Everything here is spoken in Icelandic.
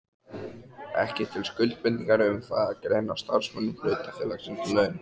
ekki til skuldbindingar um það að greiða starfsmönnum hlutafélagsins laun.